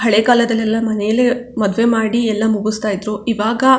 ಹಳೆಕಾಲದಲೆಲ್ಲಾ ಮನೆಲ್ಲೆ ಮದ್ವೆ ಮಾಡಿ ಎಲ್ಲಾ ಮುಗಸ್ತಾ ಇದ್ರು ಈವಾಗ --